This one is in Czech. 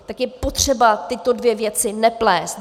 Tak je potřeba tyto dvě věci neplést.